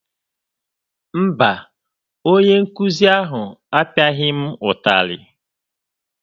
Mba, onye nkụzi ahụ apiaghi m ụtarị.